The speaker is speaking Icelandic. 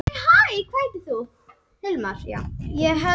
Einhverjir tala um að varnarleikur toppliða deildarinnar sé orðinn verri.